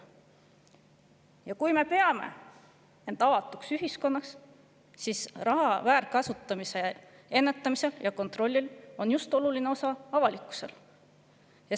Ja kui me peame end avatud ühiskonnaks, siis raha väärkasutamise ennetamisel ja kontrollil on oluline osa just avalikkusel.